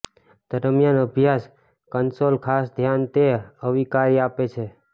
દરમિયાન અભ્યાસ કન્સોલ ખાસ ધ્યાન તે અવિકારી આપે છે